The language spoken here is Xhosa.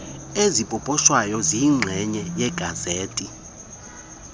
ezipoposhwayo ziyinxenye yegazethi